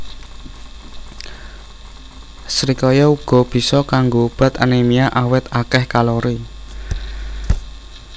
Srikaya uga bisa kanggo obat anémia awit akéh kalori